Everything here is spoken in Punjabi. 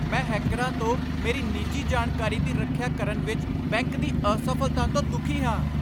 ਮੈਂ ਹੈਕਰਾਂ ਤੋਂ ਮੇਰੀ ਨਿੱਜੀ ਜਾਣਕਾਰੀ ਦੀ ਰੱਖਿਆ ਕਰਨ ਵਿੱਚ ਬੈਂਕ ਦੀ ਅਸਫ਼ਲਤਾ ਤੋਂ ਦੁਖੀ ਹਾਂ।